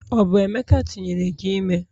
Ọ bụ emeka tinyere gi ime?